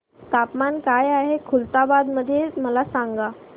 तापमान काय आहे खुलताबाद मध्ये मला सांगा